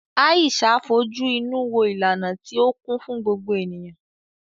Aisha fojú inú wo ìlànà tí ó kún fún gbogbo ènìyàn.